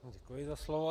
Děkuji za slovo.